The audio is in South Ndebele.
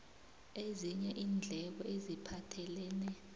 ezinye iindleko eziphathelene